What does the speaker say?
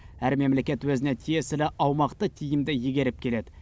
әр мемлекет өзіне тиесілі аумақты тиімді игеріп келеді